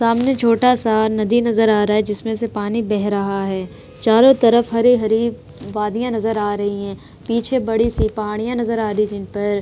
सामने छोटा सा नदी नजर आ रहा है जिसमें से पानी बह रहा है। चारों तरफ हरी-हरी वादियां नजर आ रही हैं। पीछे बड़ी सी पहाड़ियाँ नजर आ रही हैं जिनपर --